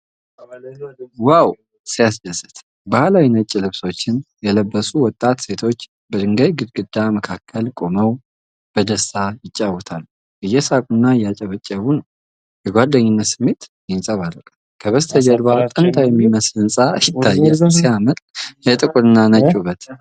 ዋው ሲያስደስት! ባህላዊ ነጭ ልብሶችን የለበሱ ወጣት ሴቶች በድንጋይ ግድግዳ መካከል ቆመው በደስታ ይጫወታሉ። እየሳቁና እያጨበጨቡ ነው፤ የጓደኝነት ስሜት ይንጸባረቃል። ከበስተጀርባ ጥንታዊ የሚመስል ህንፃ ይታያል። ሲያምር! የጥቁርና ነጭ ውበት!